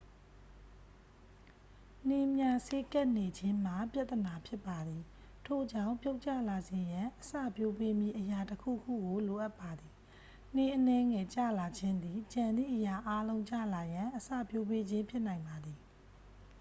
နှင်းများစေးကပ်နေခြင်းမှာ ပြဿနာဖြစ်ပါသည် ထို့ကြောင့် ပြုတ်ကျလာစေရန် အစပျိုးပေးမည့်အရာတစ်ခုခုကို လိုအပ်ပါသည် နှင်းအနည်းငယ်ကျလာခြင်းသည် ကျန်သည့်အရာအားလုံးကျလာရန် အစပျိုးပေးခြင်းဖြစ်နိုင်ပါသည်